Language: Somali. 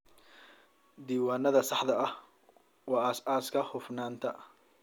Diiwaanada saxda ah waa aasaaska hufnaanta.